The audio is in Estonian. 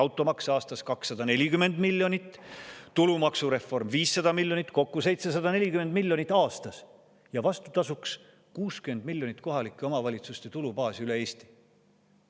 Automaks aastas 240 miljonit, tulumaksureform 500 miljonit, kokku 740 miljonit aastas, ja vastutasuks 60 miljonit kohalike omavalitsuste tulubaasi üle Eesti.